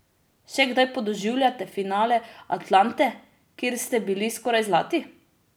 Še kdaj podoživljate finale Atlante, kjer ste bili skoraj zlati?